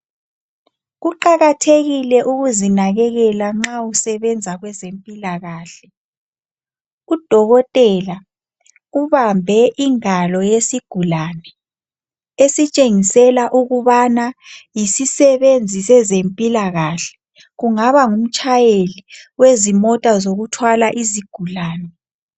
Kuqakathekile ukuzinakekela nxa usebenza kwezempilakahle. Udokotela ubambe ingalo yesigulane esitshengisela ukubana yisisebenzi sezempilakahle. Kungaba ngumtshayeli wezimota zokuthwala izigulane.